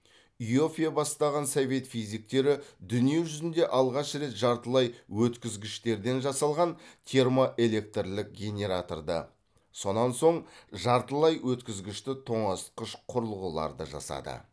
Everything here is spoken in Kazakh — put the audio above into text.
иоффе бастаған совет физиктері дүние жүзінде алғаш рет жартылай өткізгіштерден жасалған термоэлектрлік генераторды сонан соң жартылай өткізгішті тоңазытқыш құрылғыларды жасады